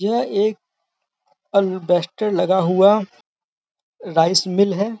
यह एक अलबेस्टर लगा हुआ राइस मिल है।